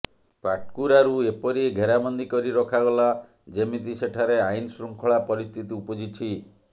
ପାଟକୁରାରୁ ଏପରି ଘେରାବନ୍ଦୀ କରି ରଖାଗଲା ଯେମିତି ସେଠାରେ ଆଇନଶୃଙ୍ଖଳା ପରିସ୍ଥିତି ଉପୁଜିଛି